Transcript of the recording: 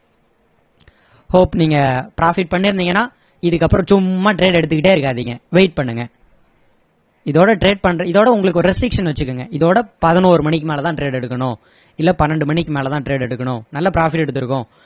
hope நீங்க profit பண்ணிருந்தீங்கன்னா இதுக்கு அப்பறம் சும்மா trade எடுத்துகிட்டே இருக்காதீங்க wait பண்ணுங்க இதோட trade பண்ற~ இதோட உங்களுக்கு ஒரு restriction வச்சிகோங்க இதோட பதினொரு மணிக்கு மேல தான் trade எடுக்கணும் இல்ல பன்னிரெண்டு மணிக்கு மேல தான் trade எடுக்கணும் நல்ல profit எடுத்திருக்கோம்